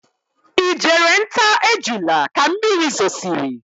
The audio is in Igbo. Ị jere nta ejula ka mmiri zosiri?